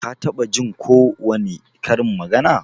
Ka taɓa Jin ko wani karin magana?